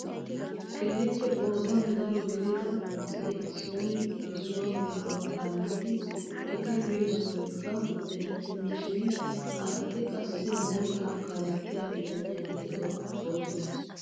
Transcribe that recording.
Keehippe qoodan daro gidida asay issoy issuwaa geedo kaalliidi eti biyoo sohoykko erettena shin ha asati qassi moottaa kalettiyaa bitaniyaa geedo boosona!